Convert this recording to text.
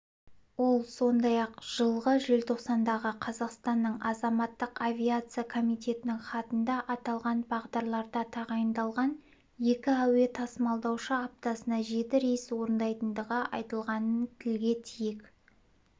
ол сондай-ақ жылғы желтоқсандағы қазақстанның азаматтық авиация комитетінің хатында аталған бағдарларда тағайындалған екі әуе тасымалдаушы аптасына жеті рейс орындайтындығы айтылғанын тілге тиек